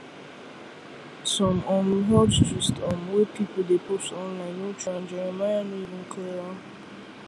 some um health gist um wey people dey post online no true and jeremiah no even clear am